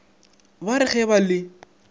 ba re ge ba le